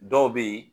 Dɔw bɛ yen